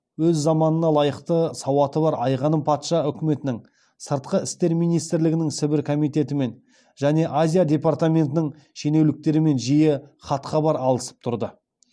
өз заманына лайықты сауаты бар айғаным патша үкіметінің сыртқы істер министрлігінің сібір комитетімен және азия департаментінің шенеуніктерімен жиі хатхабар алысып тұрды